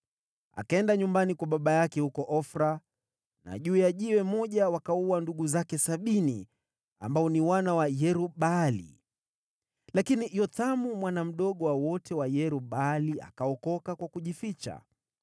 Akaenda nyumbani kwa baba yake huko Ofra, na juu ya jiwe moja wakawaua ndugu zake sabini, ambao ni wana wa Yerub-Baali. Lakini Yothamu, mwana mdogo wa wote wa Yerub-Baali, akaokoka kwa kujificha.